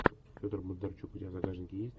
федор бондарчук у тебя в загашнике есть